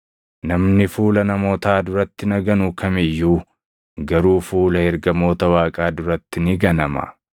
Namni fuula namootaa duratti na ganu kam iyyuu garuu fuula ergamoota Waaqaa duratti ni ganama.